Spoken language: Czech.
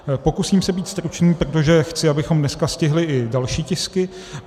Pokusím se být stručný, protože chci, abychom dneska stihli i další tisky.